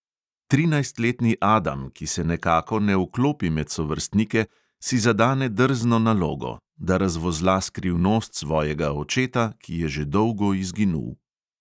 Trinajstletni adam, ki se nekako ne vklopi med sovrstnike, si zadane drzno nalogo, da razvozla skrivnost svojega očeta, ki je že dolgo izginul.